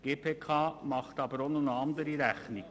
Die GPK macht aber noch eine andere Rechnung.